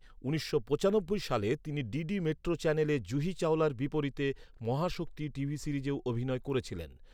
উনিশশো পঁচানব্বই সালে তিনি ডিডি মেট্রো চ্যানেলে জুহি চাওলার বিপরীতে ‘মহাশক্তি’ টিভি সিরিজেও অভিনয় করেছিলেন।